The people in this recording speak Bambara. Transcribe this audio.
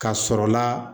Ka sɔrɔ la